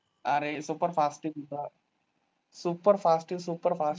अरे superfast आहे तुझा superfast आहे superfast